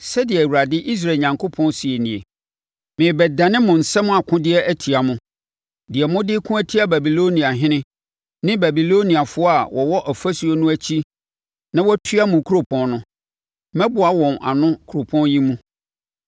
‘Sɛdeɛ Awurade, Israel Onyankopɔn, seɛ nie: Merebɛdane mo nsam akodeɛ atia mo, deɛ mode reko atia Babiloniahene ne Babiloniafoɔ a wɔwɔ ɔfasuo no akyi na wɔatua mo kuropɔn no. Mɛboa wɔn ano wɔ kuropɔn yi mu.